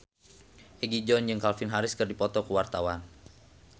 Egi John jeung Calvin Harris keur dipoto ku wartawan